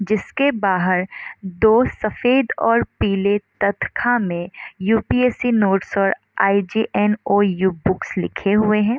जिसके बाहर दो सफ़ेद और पीले तकथा का में यु.पी.एस.सी. नोट्स और आई.जी.एन.ओ.यु. बुक्स लिखे हुए है।